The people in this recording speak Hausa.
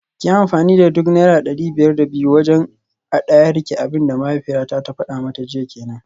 Kiyi amfani da duk naira dari biyar da biyu wajen hadayarki, abinda mahaifiyarta ta fada mata jiya kenan